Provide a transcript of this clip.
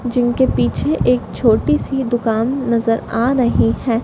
जिनके पीछे एक छोटी सी दुकान नजर आ रही है।